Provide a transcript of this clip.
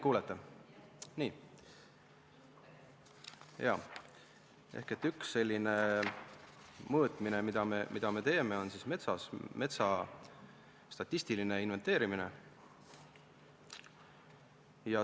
Üks selline mõõtmine, mida me teeme, on metsa statistiline inventeerimine.